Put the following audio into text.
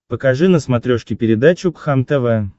покажи на смотрешке передачу кхлм тв